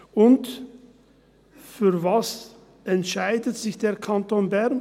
Und wofür entscheidet sich der Kanton Bern?